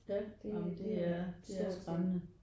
Ja ej men det er det er skræmmende